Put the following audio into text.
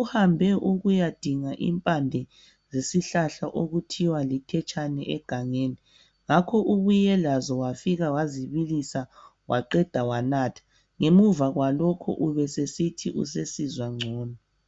uhambe ukuyadinga impande zesihlahla okuthiwa lithetshane egangeni ngakho ubuye lazo wafika wazibilisa waqeda wanatha ngemva kwalokho ubesesithi usesizwa ngcono.